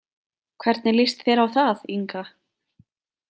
Hvernig líst þér á það, Inga?